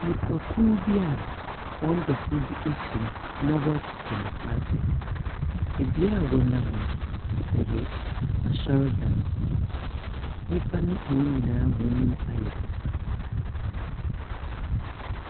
Nnipakuw bi wɔn dɔfo afim na wɔrekɔpɛ no korabea. Bea a wɔnam no, ɔyɛ asɔrdan ho. Nnympa wɔn nyinaa wɔayɛ bosaa.